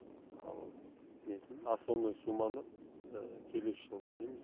ал несін основной сумманы келесі жылы төлейміз